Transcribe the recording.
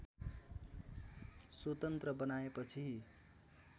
स्वतन्त्र बनाएपछि